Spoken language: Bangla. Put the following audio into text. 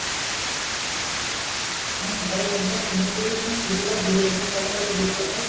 হ্যাঁ ভালো লাগবে আর সমুদ্রে যখন সূর্য টা ডুবে যায় তখন কেমন লাগে তোমার ওই দৃশ্য টা?